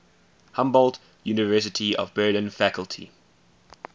humboldt university of berlin faculty